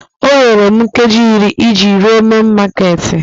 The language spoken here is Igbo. O nwere m nkeji iri iji rue main makeeti